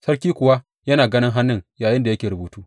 Sarki kuwa yana ganin hannun yayinda yake rubutu.